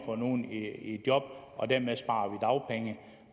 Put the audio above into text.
få nogle i job og dermed sparer man dagpenge